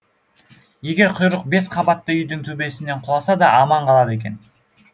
егеуқұйрық бес қабатты үйдің төбесінен құласа да аман қалады екен